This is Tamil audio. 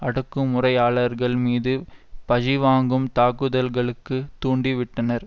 அடக்குமுறையாளர்கள் மீது பஜிவாங்கும் தாக்குதல்களுக்கு தூண்டிவிட்டனர்